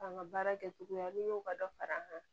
An ka baara kɛcogoya n'i y'o ka dɔ fara an kan